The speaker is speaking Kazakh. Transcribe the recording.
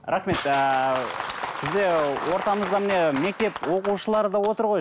рахмет ыыы бізде ортамызда міне мектеп оқушылары да отыр ғой